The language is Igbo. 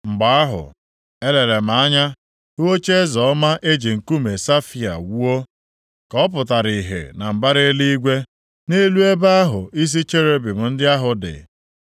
Mgbe ahụ, elere m anya hụ ocheeze ọma e ji nkume safaia wuo ka ọ pụtara ihe na mbara eluigwe, nʼelu ebe ahụ isi cherubim ndị ahụ dị.